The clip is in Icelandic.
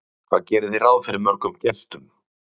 Gunnar Atli Gunnarsson: Hvað gerið þið ráð fyrir mörgum gestum?